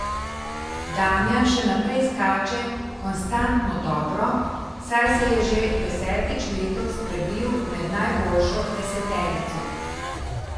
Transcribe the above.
Damjan še naprej skače konstantno dobro, saj se je že desetič letos prebil med najboljšo deseterico.